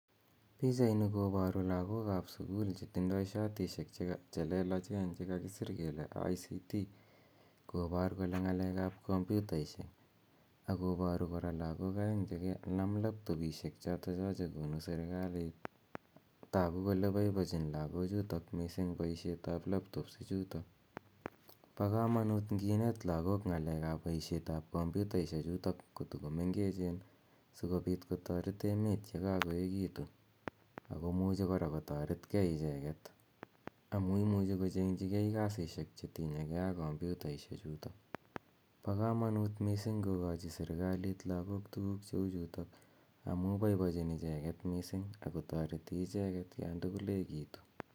Pichaini koparu lagook ap sukul chetindai shatishek chelelachen chekakisir kele (abrev.)ICT kopar kole ng'aleek ap komputaishek, ako paru kora lagook aeng' laptopishek aeng' chotocho che konu serikalit. Tagu kole paipachin missing' lagochutok paishet ap laptops ichutok. Pa kamanuut ngineet lagook ng'alek ap paishet ap kompyutaishechutok kotumengechen si kopit kotaret emet ye kakoekitu ako muchi kora kotaret gei icheget amu imuchi kocheng' chi gei kasishek che tinye gei ak kompitaishechutok. Pa kamanut missing' kokachi lagook serikaliit tuguuk che u chutok amu poipochin icheget missing' ako tareti icheget yan tugul ekitu.